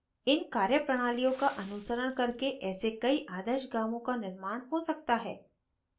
इन कार्यप्रणालियाँ का अनुसरण करके ऐसे कई आदर्श गाँवों का निर्माण हो सकता है